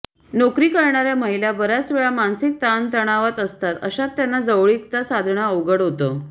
नोकरी करणार्या महिला बर्याच वेळा मानसिक ताणतणावात असतात अशात त्यांना जवळीकता साधणं अवघड होतं